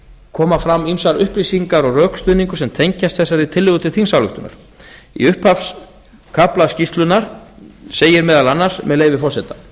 koma fram ýmsar upplýsingar og rökstuðningur sem tengjast þessari tillögu til þingsályktunar í upphafskafla skýrslunnar segir meðal annars með leyfi forseta